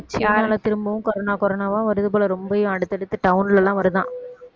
திரும்பவும் corona corona வா வருது போல ரொம்பவும் அடுத்தடுத்து town லலாம் வருதாம்